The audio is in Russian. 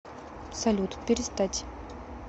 салют перестать